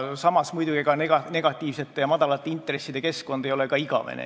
Samas ei ole muidugi negatiivsete ja madalate intresside keskkond igavene.